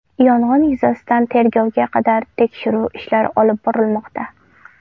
Yong‘in yuzasidan tergovga qadar tekshiruv ishlari olib borilmoqda.